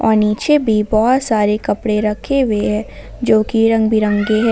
और नीचे भी बहुत सारे कपड़े रखे हुए हैं जो की रंग बिरंगे है।